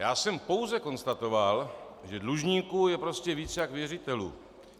Já jsem pouze konstatoval, že dlužníků je prostě víc jak věřitelů.